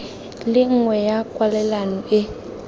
le nngwe ya kwalelano e